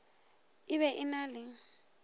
e be e na le